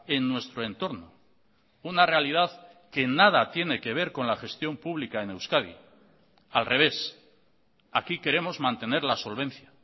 en nuestro entorno una realidad que nada tiene que ver con la gestión pública en euskadi al revés aquí queremos mantener la solvencia